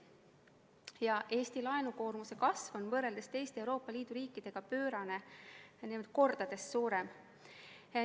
Ja Eesti laenukoormuse kasv on võrreldes teiste Euroopa Liidu riikidega pöörane, mitu korda suurem.